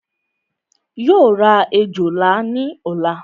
Yóò ra òjòlá ní ọ̀la